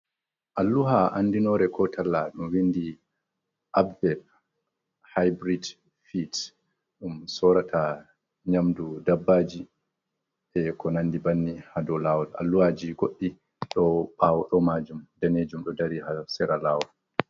Alluha an dinore ko tal laɗumindi abbeb hybrid fet ɗum sorata nyamdu dabbaji he ko nandi banni ha dou lawol allu’aji goɗɗi ɗo ɓawo majim daneji do ha sera lawol.